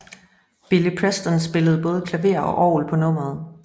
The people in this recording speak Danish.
Billy Preston spillede både klaver og orgel på nummeret